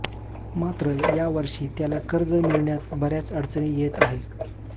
मात्र या वर्षी त्याला कर्ज मिळण्यात बऱ्याच अडचणी येत आहे